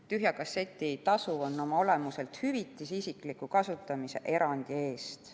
Tühja kasseti tasu on oma olemuselt hüvitis isikliku kasutamise erandi eest.